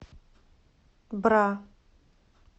бра